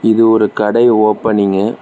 இது ஒரு கடை ஓபனிங்கு .